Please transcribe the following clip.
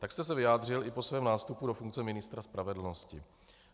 Tak jste se vyjádřil i po svém nástupu do funkce ministra spravedlnosti.